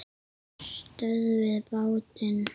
STÖÐVIÐ BÁTINN!